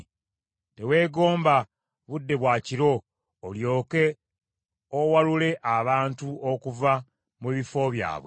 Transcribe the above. Teweegomba budde bwa kiro olyoke owalule abantu okuva mu bifo byabwe.